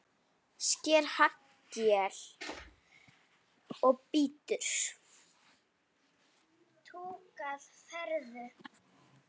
Sker haglél og bítur.